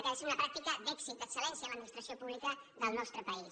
que ha de ser una pràctica d’èxit d’excel·lència en l’administració pública del nostre país